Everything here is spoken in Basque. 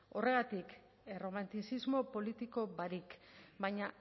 horregatik erromantizismo politiko barik baina